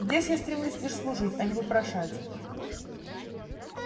здесь я стремлюсь лишь служить а не вопрошать